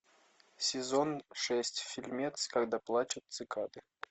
сезон шесть фильмец когда плачут цикады